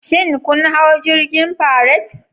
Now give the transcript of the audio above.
Shin kun hau jirgin Pirates?